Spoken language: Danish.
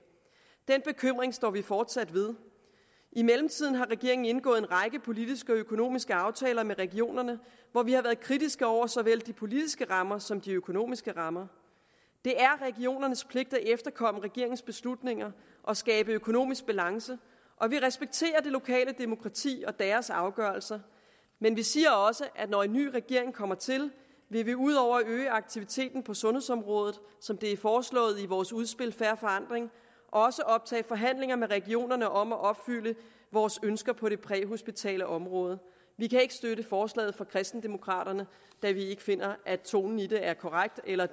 den bekymring står vi fortsat ved i mellemtiden har regeringen indgået en række politiske og økonomiske aftaler med regionerne hvor vi har været kritiske over for såvel de politiske rammer som de økonomiske rammer det er regionernes pligt at efterkomme regeringens beslutninger og skabe økonomisk balance og vi respekterer det lokale demokrati og deres afgørelser men vi siger også at når en ny regering kommer til vil vi ud over at øge aktiviteten på sundhedsområdet som det er foreslået i vores udspil fair forandring også optage forhandlinger med regionerne om at opfylde vores ønsker på det præhospitale område vi kan ikke støtte forslaget fra kristendemokraterne da vi finder at tonen i det er korrekt eller